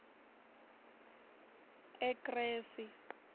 ekresi